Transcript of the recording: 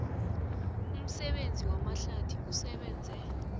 umsebenzi wamahlathi usebenze